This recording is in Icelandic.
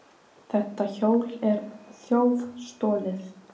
Þetta hjól er þjófstolið!